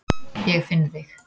Ég finn þig.